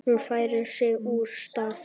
Hún færir sig úr stað.